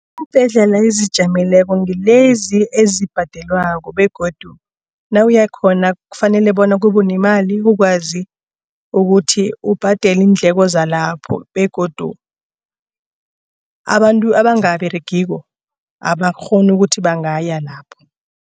Iimbhedlela ezizijameleko ngilezi ezibhadelwako begodu nawuyakhona kufanele bona kube nemali ukwazi ukuthi ubhadele iindleko salapho begodu abantu abangaberegiko abakghoni ukuthi bangaya lapho.